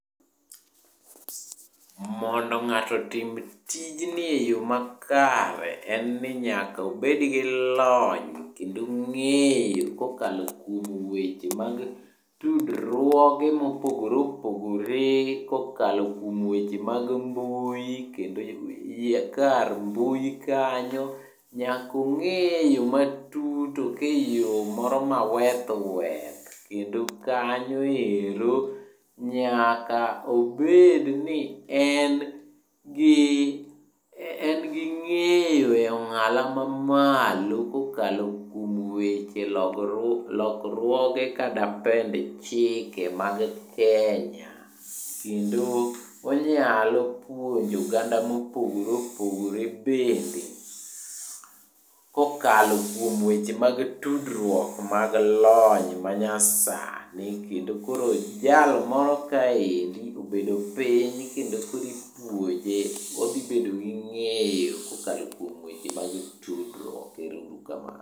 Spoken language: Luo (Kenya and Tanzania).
Mondo ng'ato otim tijni e yo makare, en ni nyaka obed gi lony kendo ng'eyo kokalo kuom weche mag tudruoge mopogore opogore, kokalo kuom weche mag mbui kendo kar mbui kanyo. Nyaka ong'eye yo matut ok e yo moro maweth weth kendo kanyo ero nyaka obed ni en gi ng'eyo e ong'ala mamalo kokalo kuom weche lokruoge kata pend chike mag Kenya kendo wanyalo puonjo oganda mopogore opogore bende kokalo kuom weche mag tudruok mag lony manyasani . Kendo koro jal moro kaendi obedo piny kendo koro ipuonje odhibedo gi ng'eyo kokalo kuom weche mag tudruok . Ero uru kamano.